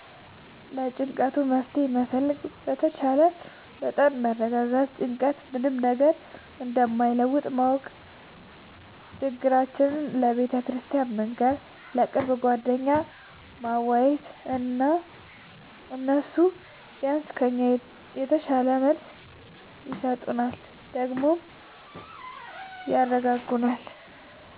ለጭንቀቱ መፍትሄ መፈለግ በተቻለ መጠን መረጋጋት ጭንቀት ምንም ነገር እንደማይለውጥ ማወቅ ችግራችን ለቤተክርስቲያን መንገር፣ ለቅርብ ጓደኛ ማዋየት እና እነሱ ቢያንስ ከኛ የተሻለ መልስ ይሰጡናል ደግሞም ያረጋጉናል።